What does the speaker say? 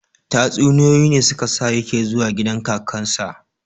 Tatsuniyoyi ne su ka sa ya ke zuwa gidan kakarsa